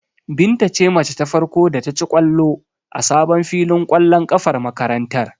Binta ce mace ta farko da ta ci ƙwallo a sabon filin ƙwallon ƙafar makarantar.